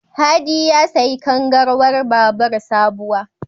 Hadi ya sayi kangarwar babur sabuwa.